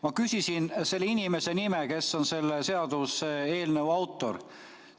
Ma küsisin selle inimese nime, kes on selle seaduseelnõu autor.